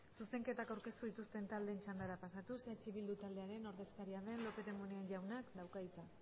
zuzenketak aurkeztu dituzten taldearen txandara pasatuz eh bildu taldearen ordezkaria den lópez de munain jaunak dauka hitza